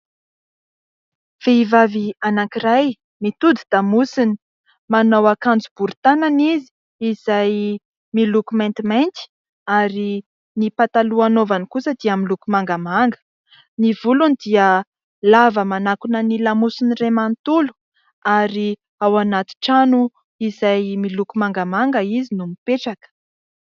Vehivavy anankiray mitodi-damosina, manao akanjo bory tanana izy izay miloko maintimainty ary ny pataloha anaovany kosa dia miloko mangamanga. Ny volony dia lava manakona ny lamosiny iray manontolo ary ao anaty trano izay miloko mangamanga izy no mipetraka.